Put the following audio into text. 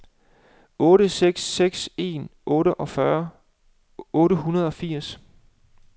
otte seks seks en otteogfyrre otte hundrede og firs